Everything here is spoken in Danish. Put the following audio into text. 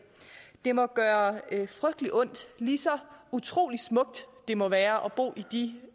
det må gøre frygtelig ondt lige så utrolig smukt det må være at bo i de